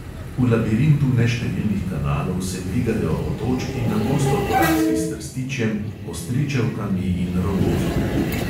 V labirintu neštevilnih kanalov se dvigajo otočki, na gosto porasli s trstičjem, ostričevkami in rogozom.